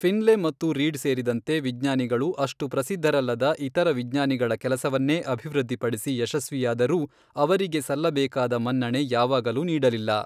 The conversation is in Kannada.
ಫಿನ್ಲೇ ಮತ್ತು ರೀಡ್ ಸೇರಿದಂತೆ ವಿಜ್ಞಾನಿಗಳು, ಅಷ್ಟು ಪ್ರಸಿದ್ಧರಲ್ಲದ ಇತರ ವಿಜ್ಞಾನಿಗಳ ಕೆಲಸವನ್ನೇ ಅಭಿವೃದ್ಧಿಪಡಿಸಿ ಯಶಸ್ವಿಯಾದರೂ ಅವರಿಗೆ ಸಲ್ಲಬೇಕಾದ ಮನ್ನಣೆ ಯಾವಾಗಲೂ ನೀಡಲಿಲ್ಲ.